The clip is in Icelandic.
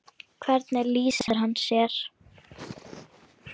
Hvernig lýsir hann sér?